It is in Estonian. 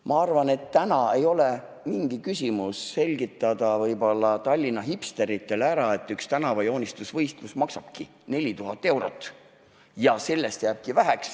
Ma arvan, et täna ei ole mingi küsimus selgitada Tallinna hipsteritele ära, et üks tänavajoonistusvõistlus maksabki 4000 eurot ja sellest jääbki väheks.